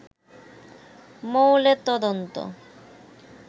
মৌলের অন্তত